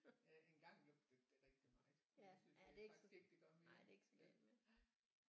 Ja engang lugtede det rigtig meget men det synes jeg faktisk ikke det gør mere